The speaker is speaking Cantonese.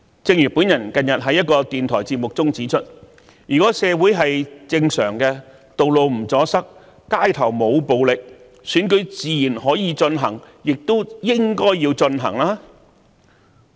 正如我近日在電台節目中指出，如社會正常運作，道路不阻塞，街頭沒有暴力事件，選舉自然可以進行，亦應該進行。